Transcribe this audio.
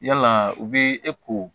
Yala u bɛ e ko